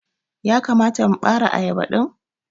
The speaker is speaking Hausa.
ya kamata in bare ayaba din?